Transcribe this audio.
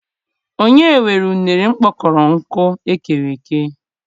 O nye nwere une mụkpọrọ nkụ eghereghe?